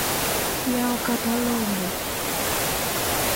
Yao kata Lombo.